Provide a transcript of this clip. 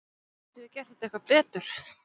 Getum við gert þetta eitthvað betur?